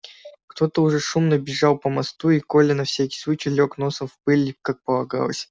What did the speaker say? кто-то уже шумно бежал по мосту и коля на всякий случай лёг носом в пыль как полагалось